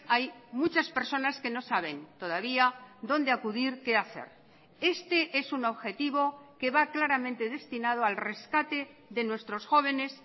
hay muchas personas que no saben todavía dónde acudir qué hacer este es un objetivo que va claramente destinado al rescate de nuestros jóvenes